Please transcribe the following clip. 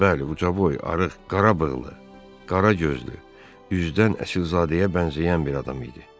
Bəli, ucaboy, arıq, qarabığlı, qaragözlü, üzdən əsilzadəyə bənzəyən bir adam idi.